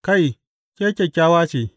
Kai, ke kyakkyawa ce!